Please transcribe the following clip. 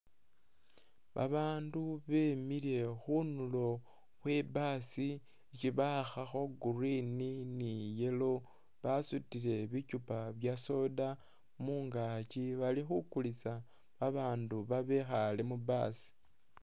Babaandu bemile khunulo khwe bus isi bawakhakho green ni yellow basutile bikyupa bya soda mungaakyi bali khukulisa babaandu babekhale mu bus.